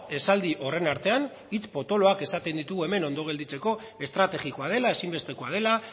esaldi horren artean hitz potoloak esaten ditugu hemen ondo gelditzeko estrategikoa dela ezinbestekoa dela